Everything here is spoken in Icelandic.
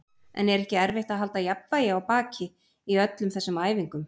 En er ekki erfitt að halda jafnvægi á baki í öllum þessum æfingum?